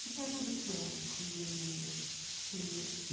Que período que é? Que... que...